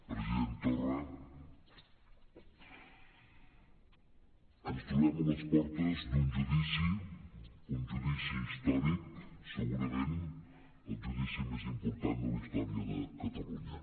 president torra ens trobem a les portes d’un judici un judici històric segurament el judici més important de la història de catalunya